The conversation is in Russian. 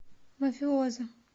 мафиоза